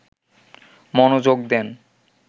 মনোযোগ দেন